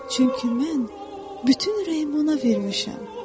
Çünki mən bütün ürəyimi ona vermişəm.